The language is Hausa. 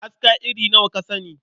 Aska iri nawa ka sani?